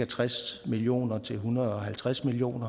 tres million kroner til en hundrede og halvtreds million